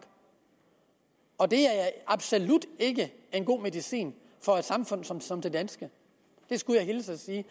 og det er absolut ikke en god medicin for et samfund som som det danske det skulle jeg hilse og sige